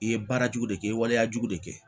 I ye baara jugu de kɛ i ye waleyajugu de kɛ